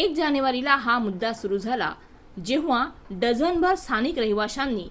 1 जानेवारीला हा मुद्दा सुरू झाला जेव्हा डझनभर स्थानिक रहिवाशांनी